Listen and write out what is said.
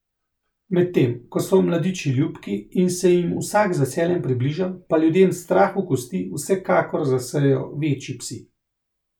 Medtem ko so mladiči ljubki in se jim vsak z veseljem približa, pa ljudem strah v kosti vsekakor zasejejo večji psi.